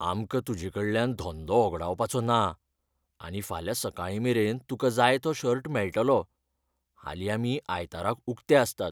आमकां तुजेकडल्यान धंदो होगडावपाचो ना आनी फाल्यां सकाळीमेरेन तुका जाय तो शर्ट मेळटलो. हालीं आमी आयताराक उकते आसतात.